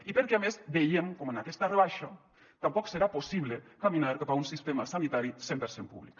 i perquè a més veiem com amb aquesta rebaixa tampoc serà possible caminar cap a un sistema sanitari cent per cent públic